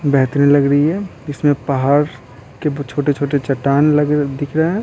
बेहतरीन लग रही है इसमें पहाड़ के छोटे-छोटे चट्टान लग दिख रहे हैं।